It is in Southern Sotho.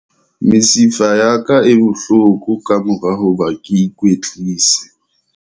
Mesifa ya ka e bohloko ka mora hoba ke ikwetlise.